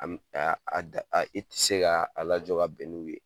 A m a a da a i tɛ se k'a a lajɔ ka bɛn n'u ye